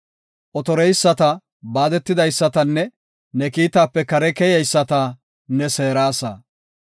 Otoreyisata, baadetidaysatanne, ne kiitaape kare keyeyisata ne seerasa.